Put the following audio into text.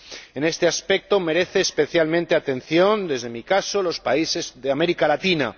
En este aspecto, merecen especialmente atención, desde mi caso, los países de América Latina.